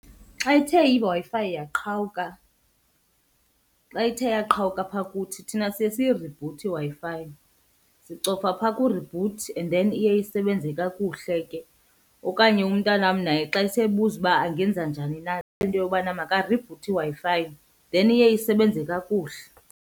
Xa ithe iWi-Fi yaqhawuka, xa ithe yaqhawuka apha kuthi thina siye siyiribhuthe iWi-Fi. Sicofa phaa ku-reboot and then iye isebenze kakuhle ke. Okanye umntanam naye xa eseyibuza uba angenza njani na into yobana makaributhe iWi-Fi then iye isebenze kakuhle.